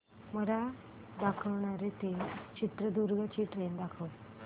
मला दावणगेरे ते चित्रदुर्ग ची ट्रेन दाखव